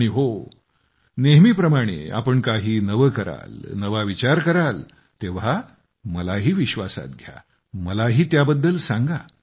आणि हो नेहमीप्रमाणे जेव्हा तुम्ही काही नवे कराल नवा विचार कराल तेव्हा मलाही विश्वासात घ्या मलाही त्याबद्दल सांगा